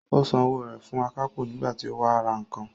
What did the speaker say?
Ó san owó rẹ̀ fún akápò nígbà tí ó wá ra nǹkan